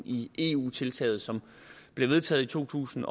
i eu tiltaget som bliver vedtaget i to tusind